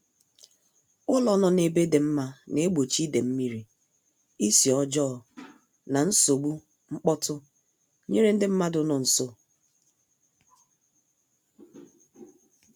Ụlọ nọ ebe dị mma na-egbochi ide mmiri, isi ọjọọ, na nsogbu mkpọtụ nyere ndị mmadụ nọ nso